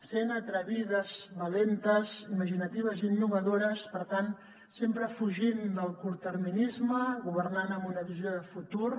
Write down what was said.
sent atrevides valentes imaginatives i innovadores per tant sempre fugint del curtterminisme governant amb una visió de futur